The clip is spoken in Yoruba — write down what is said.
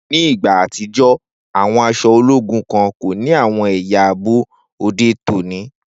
Ni igba atijọ, awọn aṣọ ologun kan ko ni awọn ẹya aabo ode oni.